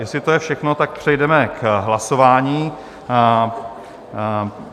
Jestli to je všechno, tak přejdeme k hlasování.